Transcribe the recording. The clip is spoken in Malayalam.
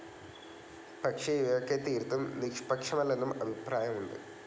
പക്ഷേ ഇവയൊക്കെ തീർത്തും നിഷ്പക്ഷമല്ലെന്നും അഭിപ്രായമുണ്ട്.